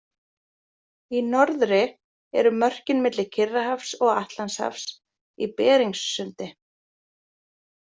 Í norðri eru mörkin milli Kyrrahafs og Atlantshafs í Beringssundi.